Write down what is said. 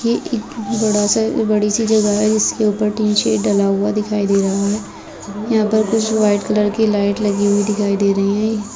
की एक बड़ा-सा बड़ी सी जगह है जिसके ऊपर तीन डला हुआ दिखाई दे रहा है यहाँ पे कुछ वाइट कलर की लाइट लगी हुई दिखाई दे रही हैं।